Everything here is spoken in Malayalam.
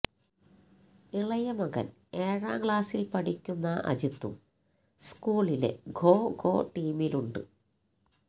ഇളയമകൻ ഏഴാം ക്ലാസിൽ പഠിക്കുന്ന അജിത്തും സ്കൂളിലെ ഖോഖൊ ടീമിലുണ്ട്